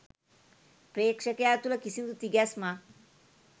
ප්‍රේක්ෂකයා තුළ කිසිදු තිගැස්මක්